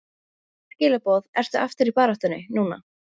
Engin skilaboð Ertu aftur í baráttunni núna?